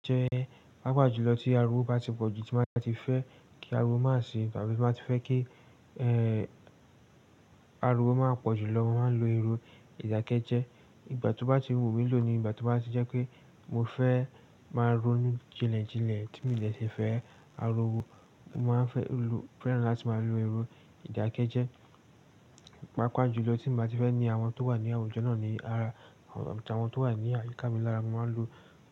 Jẹ pàápàá jùlọ tí ariwo bá ti pọ̀jù tí màá ti fẹ́ kí ariwo má sì tàbí tí màá ti fẹ́ ki ariwo má pọ̀jù lọ, màá lo irú ìdákẹ́jẹ. Ìgbà tí ó bá ti wúmi lòó ni ìgbà tí ó bá ti jẹ́ pé mo fẹ́ má ronú jinlẹ jinlẹ tí mí lè ṣi fẹ́ ariwo, màá fẹ́ lò, fẹ́ràn láti má lo irú ìdákẹ́jẹ́. Pàápàá jùlọ tí bàá ti fẹ́ ní àwọn tó wà ní àwùjọ náà ni ara àwọn tó wà ní àyíká mi lára, màá lo.